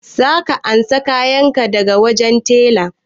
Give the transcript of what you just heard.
Za ka ansa kayan ka daga wajen tela?